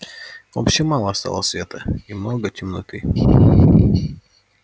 вообще мало стало света и много темноты